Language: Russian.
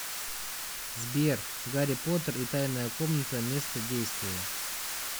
сбер гарри поттер и тайная комната место действия